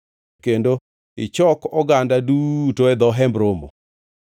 kendo ichok oganda duto e dho Hemb Romo.”